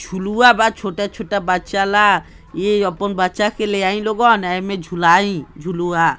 झुलुआ बा छोटे-छोटा बच्चा ला यह आपन बच्चा के लाइ लगन एमें झूलाइ झुलुआ |